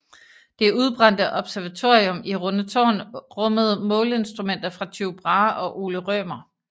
Det udbrændte observatorium i Rundetårn rummede måleinstrumenter fra Tycho Brahe og Ole Rømer